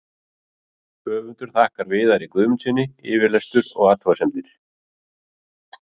Höfundur þakkar Viðari Guðmundssyni yfirlestur og athugasemdir.